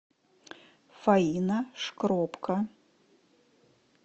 фаина шкробко